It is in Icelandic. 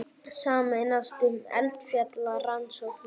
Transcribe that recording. Sameinast um eldfjallarannsóknir